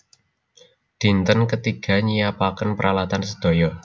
Dinten ketiga nyiapaken pralatan sedaya